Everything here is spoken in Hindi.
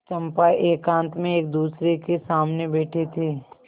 चंपा एकांत में एकदूसरे के सामने बैठे थे